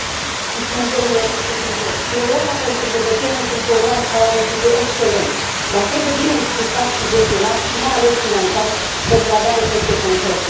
Mulțumesc, domnule președinte, Europa pentru cetățeni este un program care are un titlu excelent dar trebuie bine explicat și gestionat și, mai ales, finanțat pentru a avea efecte concrete.